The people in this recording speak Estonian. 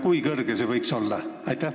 Kui kõrge see võiks olla?